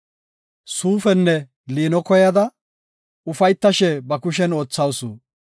Suufenne liino koyada, ufaytashe ba kushen oothawusu.